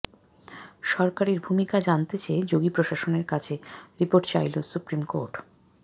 সরকারের ভূমিকা জানতে চেয়ে যোগী প্রশাসনের কাছে রিপোর্ট চাইলো সুপ্রিম কোর্ট